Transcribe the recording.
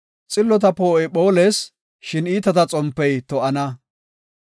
Xillota poo7oy phoolees; shin iitata xompey to7ana.